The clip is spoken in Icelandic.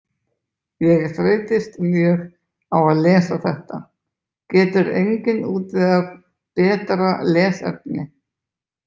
Ég þreytist mjög á að lesa þetta, getur enginn útvegað betra lesefni?